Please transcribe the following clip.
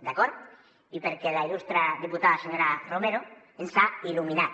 d’acord i perquè la il·lus tre diputada senyora romero ens ha il·luminat